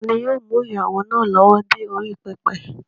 Tani yóò mú ìyàwó náà lọ́wọ́ dé orí pẹpẹ?